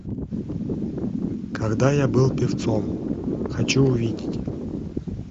когда я был певцом хочу увидеть